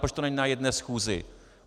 Proč to není na jedné schůzi?